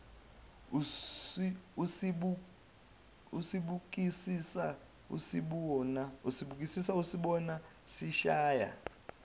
usibukisisa usibona sishaya